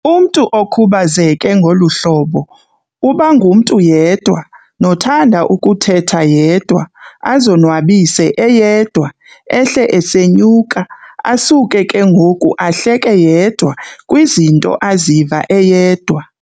Umntu okhubazeke ngolu hlobo ubangumntu yedwa, nothanda ukuthetha yedwa, azonwabise eyedwa, ehle esenyuka, asuke ke ngoku ahleke yedwa kwizinto aziva eyedwa.